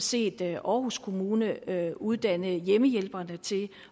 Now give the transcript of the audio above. set aarhus kommune uddanne hjemmehjælperne til